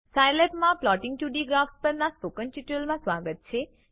સાયલેબમાં plotting 2ડી graphs પરના spoken tutorial માં સ્વાગત છે